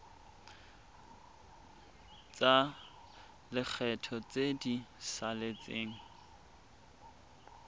tsa lekgetho tse di saletseng